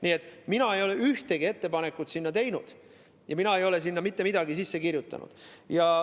Nii et mina ei ole ühtegi ettepanekut teinud ja mina ei ole sinna mitte midagi sisse kirjutanud.